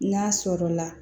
N'a sɔrɔ la